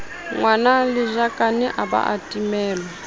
ngwanelajakane a ba a timellwa